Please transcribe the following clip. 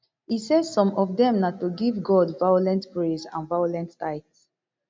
e say some of dem na to give god violent praise and violent tithe